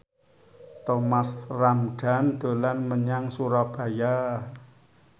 Thomas Ramdhan dolan menyang Surabaya